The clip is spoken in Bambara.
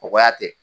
Kɔgɔya tɛ